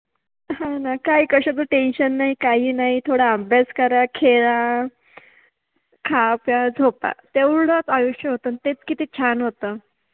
हो न काय काय कशाच टेंशन नाइ, काहि नाहि, थोडा अभ्यास करा, खेळा, खा, प्या, झोपा. तेवढाच आयुष्य होत आणि तेच किती छान होत.